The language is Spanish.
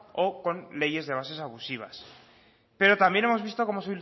o con leyes de bases abusivas pero también hemos visto cómo